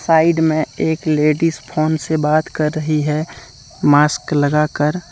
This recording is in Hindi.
साइड में एक लेडिस फोन से बात कर रही है मास्क लगाकर।